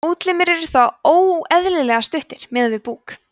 útlimir eru þá óeðlilega stuttir miðað við búk